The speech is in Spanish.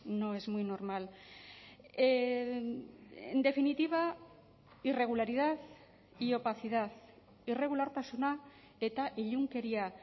no es muy normal en definitiva irregularidad y opacidad irregulartasuna eta ilunkeria